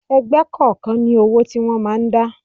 Ẹgbẹ́ kọ̀ọ̀kan ní owó tí wọ́n máa ń dá.